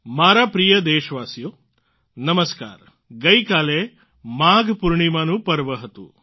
મારા પ્રિય દેશવાસીઓ ગઇકાલે માઘ પૂર્ણિમાનું પર્વ હતું